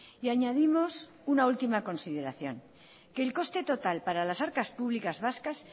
y añadimos una última consideración que el coste total para las arcas públicas vascas